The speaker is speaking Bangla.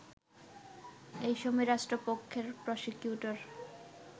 এসময় রাষ্ট্রপক্ষের প্রসিকিউটর